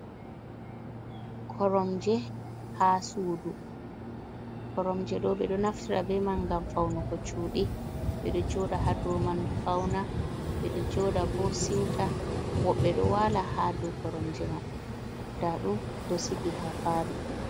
Koromje ha susdu, koromje ɗo ɓe ɗo naftira be man ngam faunuko cudi, ɓe ɗo joda ha dau man fauna. Ɓe ɗo joda bo siuta, woɓɓe ɗo wala ha dau koromje man ɗaɗum ɓe ɗo sigi ha palo.